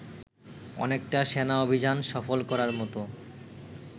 অনেকটা সেনা অভিযান সফল করার মতো